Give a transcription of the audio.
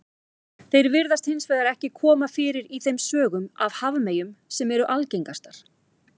Þeir virðast hins vegar ekki koma fyrir í þeim sögum af hafmeyjum sem eru algengastar.